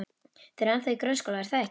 Þið eruð ennþá í grunnskóla, er það ekki?